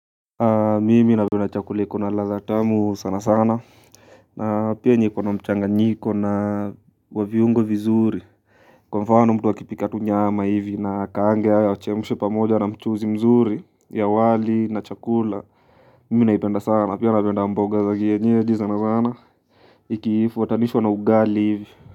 Mimi napenda chakula iko na ladha tamu sanasana na pia yenye iko na mchanganyiko na wa viungo vizuri. Kwa mfano mtu akipika tu nyama hivi na akaange au achemushe pamoja na mchuzi mzuri ya wali na chakula mimi naipenda sana na pia napenda mboga za kienyeji sana sana ikifuatanishwa na ugali hivi.